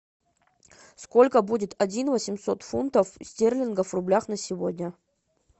сколько будет один восемьсот фунтов стерлингов в рублях на сегодня